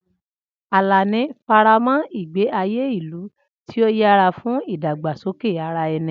Alani faramọ́ ìgbé ayé ìlú tí ó yára fún ìdàgbàsókè ara ẹni.